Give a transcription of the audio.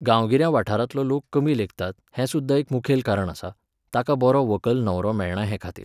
गांवगिऱ्या वाठारांतलो लोक कमी लेखतात हें सुद्दां एक मुखेल कारण आसा, तांकां बरो व्हंकल न्हवरो मेळना हेखातीर